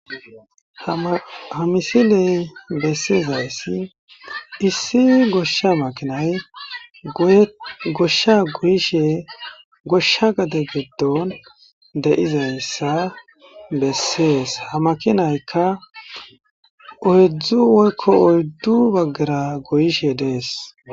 Ha ma ha misiley bessizayssi issi goshsha makinay goyeth goshsha goyishe goshsha gade giddon de7izayssa bessees; ha makinaykka oydzdzu woykko oyddu baggara goyishe de7ees.